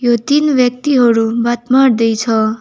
यो तीन व्यक्तिहरू बात मार्दै छ।